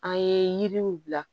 An ye yiriw bila